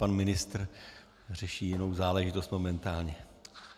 Pan ministr řeší jinou záležitost momentálně.